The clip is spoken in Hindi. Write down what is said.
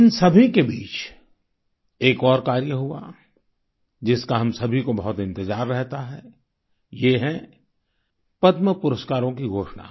इन सभी के बीच एक और कार्य हुआ जिसका हम सभी को बहुत इंतजार रहता है ये है पद्म पुरस्कारों की घोषणा